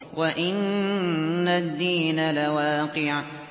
وَإِنَّ الدِّينَ لَوَاقِعٌ